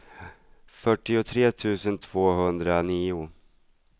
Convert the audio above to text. fyrtiotre tusen tvåhundranio